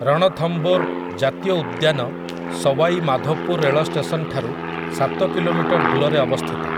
ରଣଥମ୍ଭୋର୍ ଜାତୀୟ ଉଦ୍ୟାନ ସୱାଇ ମାଧୋପୁର୍ ରେଳ ଷ୍ଟେସନଠାରୁ ସାତ କିଲୋମିଟର୍ ଦୂରରେ ଅବସ୍ଥିତ ।